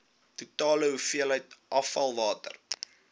totale hoeveelheid afvalwater